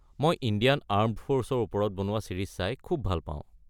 মই Indian armed ফ’ৰ্চৰ ওপৰত বনোৱা ছিৰিজ চাই খুব পাওঁ।